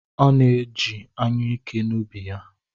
Ọ na-eji anyụike n’ubi ya.